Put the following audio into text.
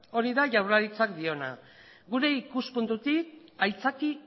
hori da jaurlaritzak diona gure ikuspuntutik aitzaki